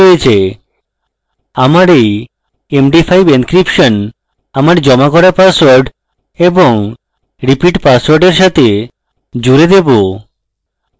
আমি এই md5 encryption আমার জমা করা পাসওয়ার্ড এবং repeat password এর সাথে জুড়ে দেবো